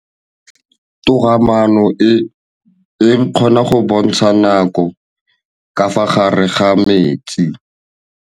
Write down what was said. Toga-maanô e, e kgona go bontsha nakô ka fa gare ga metsi.